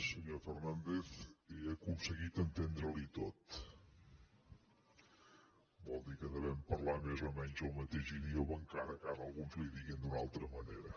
senyor fernàndez he aconseguit entendre li ho tot vol dir que devem parlar més o menys el mateix idioma encara que ara alguns li diguin d’una altra manera